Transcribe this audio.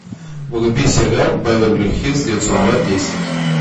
вруби сериал беверли хиллз девятьсот два десять